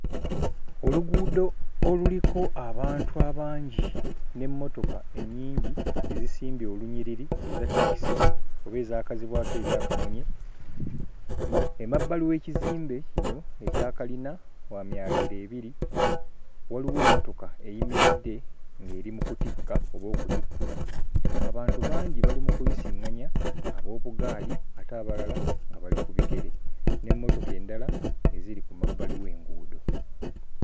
Oluguudo oluliko abantu abangi n'emmotoka ennyingi ezisimbye olunyiriri eza takisi oba ezaakazibwako erya kamunye, emabbali w'ekizimbe kino ekya kalina kya myaliriro ebiri waliwo emmotoka eyimiridde ng'eri mu kutikka oba okutikkula, abantu bangi bali mu kuyisiŋŋanya ab'obuggaali ate abalala nga bali ku bigere, n'emmotoka endala nga ziri ku mabbali w'enguudo.